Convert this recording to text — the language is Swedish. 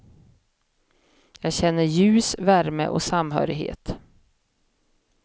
Jag känner ljus, värme och samhörighet.